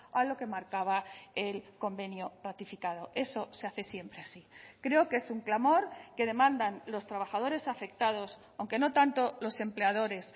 a lo que marcaba el convenio ratificado eso se hace siempre así creo que es un clamor que demandan los trabajadores afectados aunque no tanto los empleadores